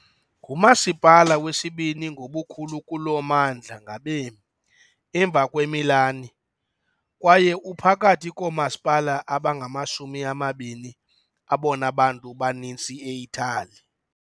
Ngumasipala wesibini ngobukhulu kulo mmandla ngabemi, emva kweMilan, kwaye uphakathi koomasipala abangamashumi amabini abona bantu baninzi e-Itali .